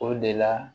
O de la